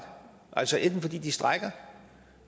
altså enten fordi de strejker